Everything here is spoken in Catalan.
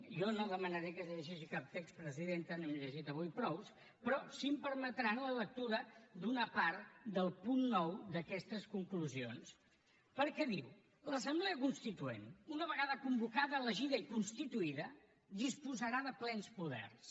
jo no demanaré que es llegeixi cap text presidenta n’hem llegit avui prou però sí que em permetran la lectura d’una part del punt nou d’aquestes conclusions perquè diu l’assemblea constituent una vegada convocada elegida i constituïda disposarà de plens poders